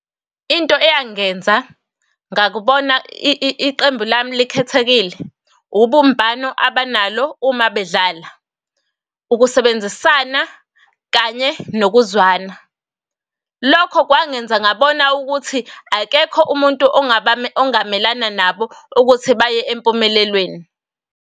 Into eyangenza ngakubona iqembu lami likhethekile, ubumbano abanalo uma bedlala, ukusebenzisana, kanye nokuzwana. Lokho kwangenza ngabona ukuthi akekho umuntu ongamelana nabo ukuthi baye empumelelweni.